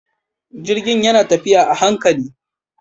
Jirgin yana tafiya a hankali.